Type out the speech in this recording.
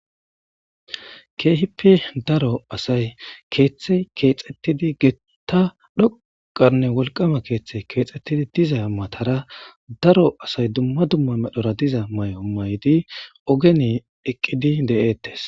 Keehippe daro asay keeththey keexxettidi geeta dhoqanne wolqama keeththey keexxettidi diza matara daro asay dumma dumma medhora diza mayo mayidi ogeni eqqidi de'ettes